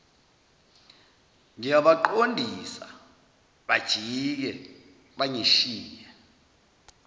ngiyabaqondisa bajike bangishiye